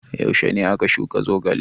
Yaushe ne aka shuka zogale?